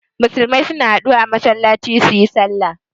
Musulmai suna haɗuwa a masallaci suyi sallah